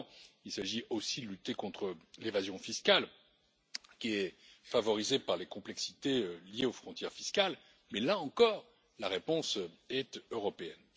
Évidemment, il s'agit aussi de lutter contre l'évasion fiscale qui est favorisée par les complexités liées aux frontières fiscales mais là encore, la réponse est européenne.